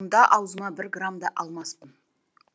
мұнда аузыма бір грамм да алмаспын